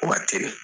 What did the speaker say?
Waati